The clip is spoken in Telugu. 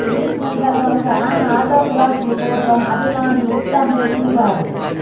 ఈ సందర్భంగా ఆమె ఆటోగ్రాఫ్ల కోసం అభిమానులు ఉత్సాహం చూపారు